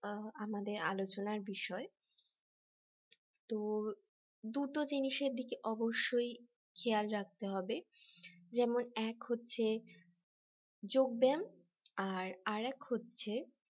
আ আমাদের আলোচনার বিষয় তো দুটো জিনিসের দিকে অবশ্যই খেয়াল রাখতে হবে যেমন এক হচ্ছে যোগ ব্যায়াম আর এর এক হচ্ছে